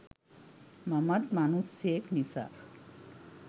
මමත් මනුස්සයෙක් නිසා